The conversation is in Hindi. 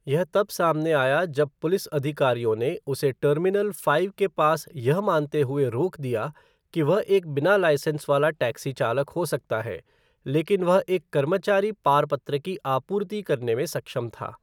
यह तब सामने आया जब पुलिस अधिकारियों ने उसे टर्मिनल फ़ाइव के पास यह मानते हुए रोक दिया कि वह एक बिना लाइसेंस वाला टैक्सी चालक हो सकता है, लेकिन वह एक कर्मचारी पार पत्र की आपूर्ति करने में सक्षम था।